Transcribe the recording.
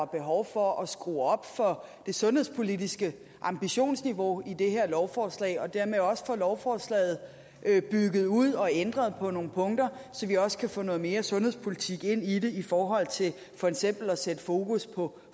behov for at skrue op for det sundhedspolitiske ambitionsniveau i det her lovforslag og dermed også få lovforslaget bygget ud og ændret på nogle punkter så vi også kan få noget mere sundhedspolitik ind i det i forhold til for eksempel at sætte fokus på